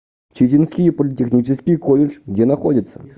читинский политехнический колледж где находится